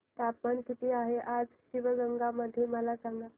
तापमान किती आहे आज शिवगंगा मध्ये मला सांगा